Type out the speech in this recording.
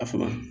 A faga